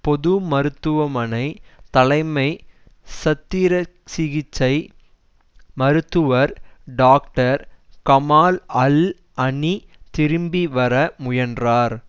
பொதுமருத்துவமனை தலைமை சத்திரசிகிச்சை மருத்துவர் டாக்டர் கமால் அல் அனி திரும்பி வர முயன்றார்